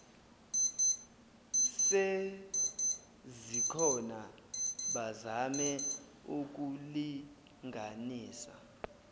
sezikhona bazame ukulinganisa